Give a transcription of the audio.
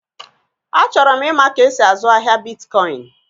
Achọrọ m ịma ka-esi azụ ahịa bitkọin